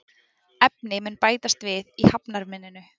Efni mun bætast við í hafnarmynninu